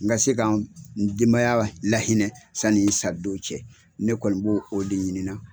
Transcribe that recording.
N ka se ka n denbaya lahinɛ sanni n sa don cɛ, ne kɔni b'o o de ɲininan.